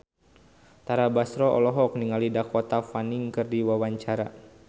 Tara Basro olohok ningali Dakota Fanning keur diwawancara